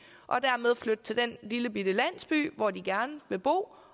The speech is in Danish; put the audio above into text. og dermed flytte til den lillebitte landsby hvor de gerne vil bo